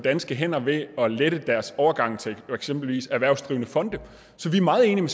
danske hænder ved at lette deres overgang til for eksempel erhvervsdrivende fonde så vi er meget enige